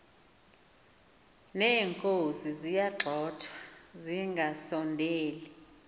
neenkozi ziyagxothwa zingasondeli